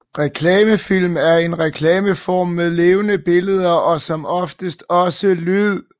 Reklamefilm er en reklameform med levende billeder og som oftest også lyd